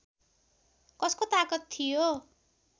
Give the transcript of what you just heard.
कसको तागत थियो